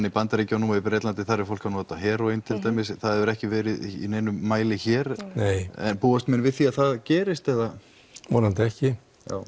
í Bandaríkjunum og í Bretlandi þar er fólk að nota heróín til dæmis en það hefur ekki verið í neinum mæli hér nei en búast menn við því að það gerist eða vonandi ekki